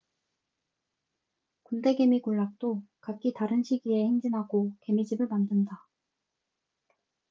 군대개미 군락도 각기 다른 시기에 행진하고 개미집을 만든다